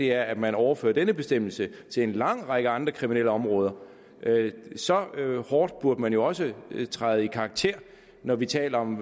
er at man overfører denne bestemmelse til en lang række andre kriminelle områder så hårdt burde man jo også træde i karakter når vi taler om